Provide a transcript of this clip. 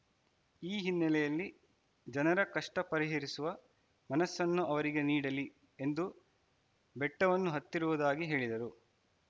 ಈ ಹಿನ್ನೆಲೆಯಲ್ಲಿ ಜನರ ಕಷ್ಟಪರಿಹರಿಸುವ ಮನಸ್ಸನ್ನು ಅವರಿಗೆ ನೀಡಲಿ ಎಂದು ಬೆಟ್ಟವನ್ನು ಹತ್ತಿರುವುದಾಗಿ ಹೇಳಿದರು